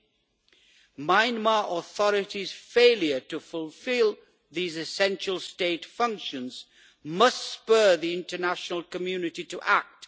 The Myanmar authorities' failure to fulfil these essential state functions must spur the international community to act.